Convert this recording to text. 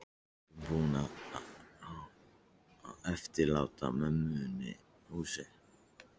Pabbinn búinn að eftirláta mömmunni húsið.